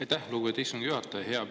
Aitäh, lugupeetud istungi juhataja!